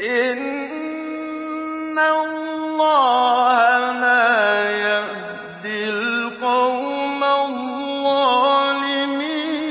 إِنَّ اللَّهَ لَا يَهْدِي الْقَوْمَ الظَّالِمِينَ